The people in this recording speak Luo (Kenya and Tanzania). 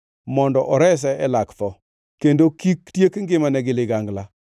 mondo orese e lak tho, kendo kik tiek ngimane gi ligangla.